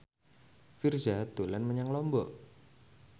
Virzha dolan menyang Lombok